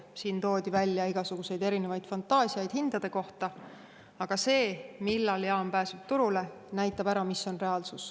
Siin toodi välja igasuguseid erinevaid fantaasiaid hindade kohta, aga see, millal jaam pääseb turule, näitab ära, mis on reaalsus.